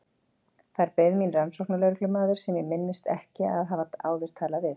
Þar beið mín rannsóknarlögreglumaður sem ég minntist ekki að hafa áður talað við.